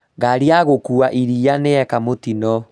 Ngari ya gũkua iria nĩyeka mũtino